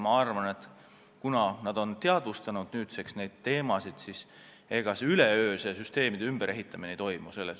Ma arvan, et nüüdseks on nad neid teemasid teadvustanud, aga üleöö süsteemide ümberehitamine ei toimu.